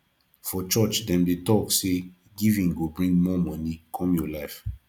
for church dem dey talk say giving go bring more money come your life